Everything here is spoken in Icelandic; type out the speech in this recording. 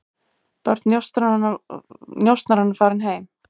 Börn njósnaranna farin heim